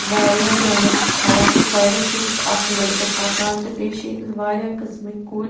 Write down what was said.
.واریاہ جھنٛڈٕ چھ کھڑاتہٕ سایڈس چُھ ییٚتٮ۪تھ اکھ لٔڑکہٕ پکان تہٕ بیٚیہِ چھ ییٚتٮ۪تھ واریاہ قٔسمٕکۍ کُلۍ